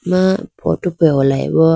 aah photo pe holayi bo.